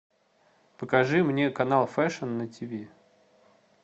покажи мне канал фэшн на ти ви